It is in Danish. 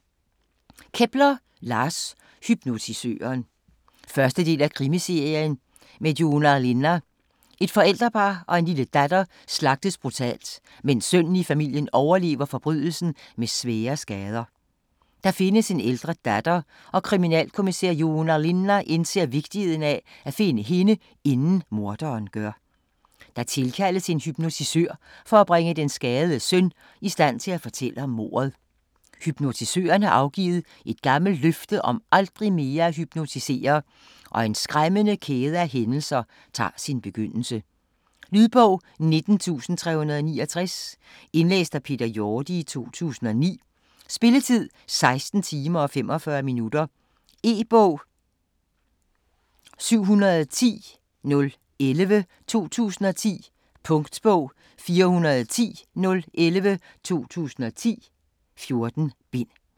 Kepler, Lars: Hypnotisøren 1. del af Krimiserien med Joona Linna. Et forældrepar og en lille datter slagtes brutalt, mens sønnen i familien overlever forbrydelsen med svære skader. Der findes en ældre datter, og kriminalkommisær Joona Linna indser vigtigheden af at finde hende, inden morderen gør. Der tilkaldes en hypnotisør for at bringe den skadede søn i stand til at fortælle om mordet. Hypnotisøren har afgivet et gammelt løfte om aldrig mere at hypnotisere, og en skræmmende kæde af hændelser tager sin begyndelse. Lydbog 19369 Indlæst af Peter Jorde, 2009. Spilletid: 16 timer, 45 minutter. E-bog 710011 2010. Punktbog 410011 2010. 14 bind.